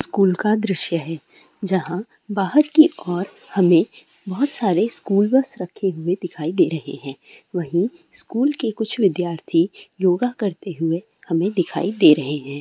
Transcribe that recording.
School का दृश्य है जहाँ बाहर की ओर हमें बोहोत सारे स्कूल बस रखे हुए दिखाई दे रहै हैं वही स्कूल के कुछ विद्यार्थी योगा करते हुए हमें दिखाई दे रहै हैं।